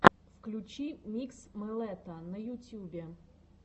включи микс мэлэта на ютьюбе